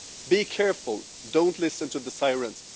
Be careful don't listen to the sirens